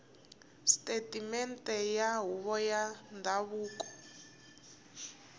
sisiteme ya huvo ya ndhavuko